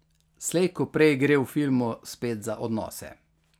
Slej ko prej gre v filmu spet za odnose.